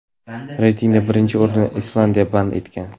Reytingda birinchi o‘rinni Islandiya band etgan.